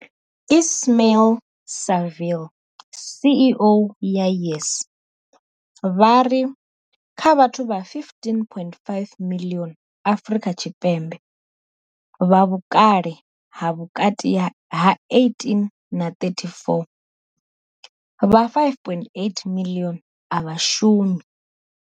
Ismail-Saville CEO wa YES, vha ri kha vhathu vha 15.5 miḽioni Afrika Tshipembe vha vhukale ha vhukati ha 18 na 34, vha 5.8 miḽioni a vha shumi.